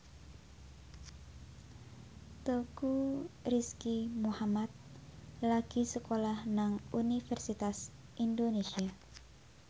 Teuku Rizky Muhammad lagi sekolah nang Universitas Indonesia